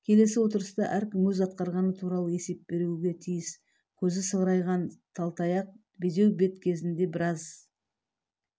келесі отырыста әркім өзі атқарғаны туралы есеп беруге тиіс көз сығырайған талтаяқ безеу бет кезінде біраз